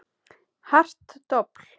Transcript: Hart dobl.